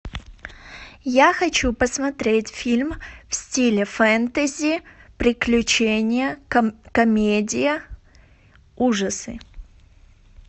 я хочу посмотреть фильм в стиле фэнтези приключения комедия ужасы